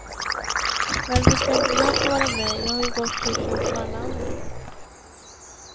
Varför ska inte jag få vara med, jag har gått på kursen som alla andra.